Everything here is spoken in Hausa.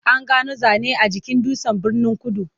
An gano zane a jikin dutsen Birnin-kudu.